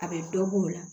A bɛ dɔ b'o la